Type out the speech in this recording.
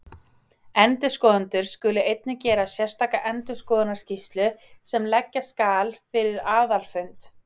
Endurskoðendur skulu einnig gera sérstaka endurskoðunarskýrslu sem leggja skal fyrir aðalfund.